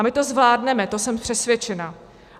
A my to zvládneme, to jsem přesvědčená.